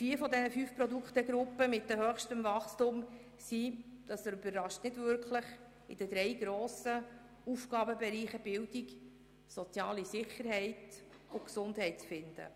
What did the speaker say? Vier dieser fünf Produktegruppen mit dem höchsten Wachstum – das überrascht nicht wirklich – sind in den Bereichen Bildung, soziale Sicherheit und Gesundheit zu finden.